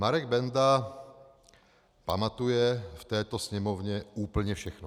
Marek Benda pamatuje v této Sněmovně úplně všechno.